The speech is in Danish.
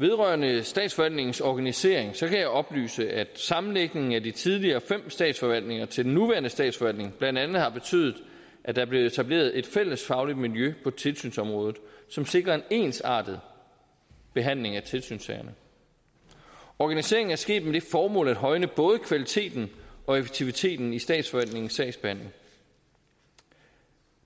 vedrørende statsforvaltningens organisering kan jeg oplyse at sammenlægningen af de tidligere fem statsforvaltninger til den nuværende statsforvaltning blandt andet har betydet at der er blevet etableret et fælles fagligt miljø på tilsynsområdet som sikrer en ensartet behandling af tilsynssagerne organiseringen er sket med det formål at højne både kvaliteten og effektiviteten i statsforvaltningens sagsbehandling